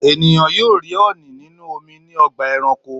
Ènìyàn yóò rí ọ̀ọ̀nì nínú omi ní ọgbà-ẹranko.